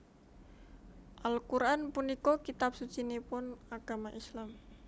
Al Quran punika kitab sucinipun agama Islam